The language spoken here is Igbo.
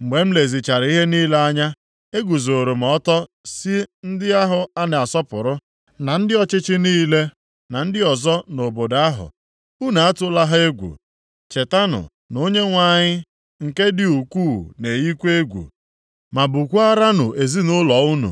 Mgbe m lezichara ihe niile anya, eguzooro m ọtọ sị ndị ahụ a na-asọpụrụ, na ndị ọchịchị niile na ndị ọzọ nʼobodo ahụ, “Unu atụla ha egwu. Chetanụ na Onyenwe anyị, nke dị ukwuu na-eyikwa egwu, ma bukwaaranụ ezinaụlọ unu,